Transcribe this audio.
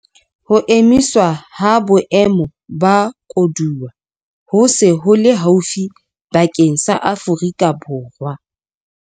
Ho emiswa ha Boemo ba Koduwa ho se ho le haufi bakeng sa Afrika Borwa.